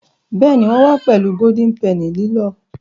Béèni wón wá pèlú Golden Penny lilọ.